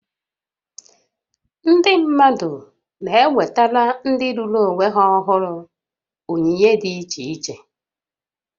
Ndị mmadụ na-ewetara ndị lụrụ onwe ha ọhụrụ onyinye dị iche iche